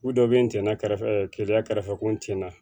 U dɔ bɛ nɛn na kɛrɛfɛ keleya kɛrɛfɛ ko n tɛna